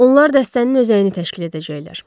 Onlar dəstənin özəyini təşkil edəcəklər.